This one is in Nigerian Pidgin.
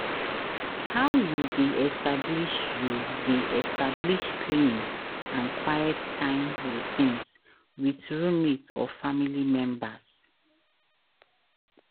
how you dey establish you dey establish cleaning and quiet time routines with roommate or family members?